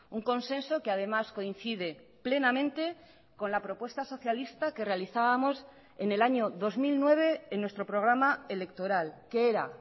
un consenso que además coincide plenamente con la propuesta socialista que realizábamos en el año dos mil nueve en nuestro programa electoral que era